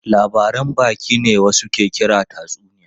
Labaran baki ne wasu ke kira tatsuniya.